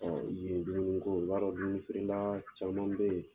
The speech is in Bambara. Ɔn yen dumuni ko, i b'a dɔn dumuni feere la caman be yen